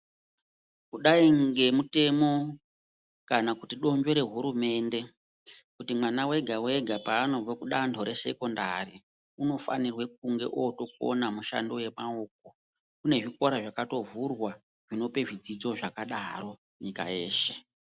Kudai ngemutemo kana donzvo rehurumende, kuti mwana wega wega paanobve kudanho resekendari ,inofanirwe kudai ootokona mishando yemaoko. Kune zvikora zvakatovhurwa, zvinope zvidzidzo zvakadaro nyika yeshe.